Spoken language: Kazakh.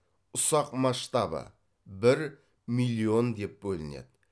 ұсақ масштабы бір миллион деп бөлінеді